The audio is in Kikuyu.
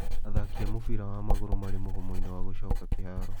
thaki a mũbira wa magũrũ marĩ mũgomo-inĩ wa gũcoka kĩhaaro.